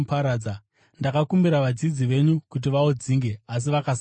Ndakakumbira vadzidzi venyu kuti vaudzinge, asi vakasagona.”